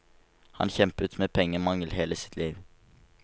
Han kjempet med pengemangel hele sitt liv.